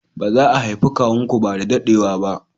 Ba za a haifi kawun ku ba da daɗewa ba